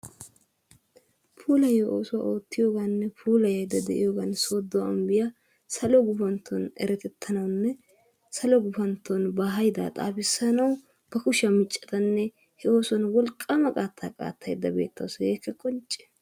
Puulayiyo oosuwa ootiyoganinne puulayda de'iyogan sooddo ambbiyaa salo guppantton erettettanawunne salo guppantton ba haydaa xaafissanawu ba kushiya miccaddanne he oosuwan wolqqaama qanttaa qaaxxaydda beettawusu hegeekka qoncce.